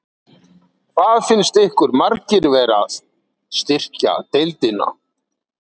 Hvað finnst ykkur margir vera að styrkja deildina?